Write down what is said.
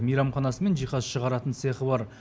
мейрамханасы мен жиһаз шығаратын цехы бар